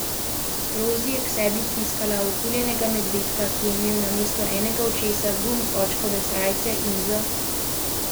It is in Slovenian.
Rozi je k sebi stiskala oguljenega medvedka, ki je imel namesto enega očesa gumb z očkove srajce, in z zanimanjem poslušala mamine besede.